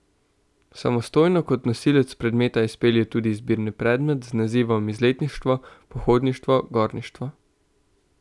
Samostojno kot nosilec predmeta izpelje tudi izbirni predmet z nazivom Izletništvo, pohodništvo, gorništvo.